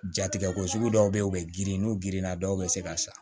Jatigɛ ko sugu dɔw bɛ yen u bɛ girin n'u girinna dɔw bɛ se ka sa